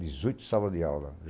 Dezoito salas de aula.